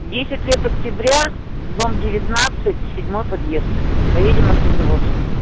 десять лет октября дом девятнадцать седьмой подъезд поедем на автозавод